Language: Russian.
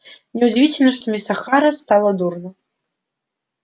неудивительно что мисс охара стало дурно